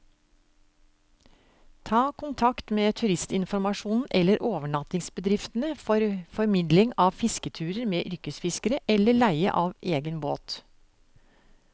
Ta kontakt med turistinformasjonen eller overnattingsbedriftene for formidling av fisketurer med yrkesfiskere, eller leie av egen båt.